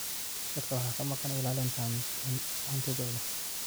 Dadka waxaa ka maqan ilaalinta hantidooda.